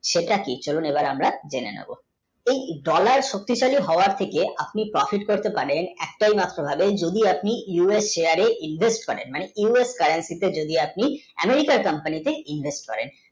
সেটা কি তো চলুন আমরা জেনে নোব এই dollar শক্তিশালী হওয়ার থেকে আপনি pofat করতে পারেন একটাই মাত্র ভাবে যদি আপনি us Share এ invest করেন মানে us Currenti তে যদি আপনি amirika কার company তে invest করেন